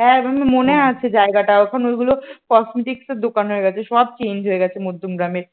হ্যাঁ মনে আছে জায়গাটা এখন ওইগুলো cosmetics সের দোকান হয়ে গেছে সব change হয়ে গেছে মধ্যমগ্রামের।